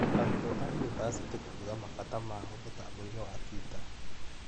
Arũtwo a yunibathĩtĩ kuuga mabata mao mũtamboini wa twita